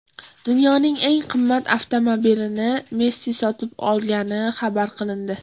Dunyoning eng qimmat avtomobilini Messi sotib olgani xabar qilindi.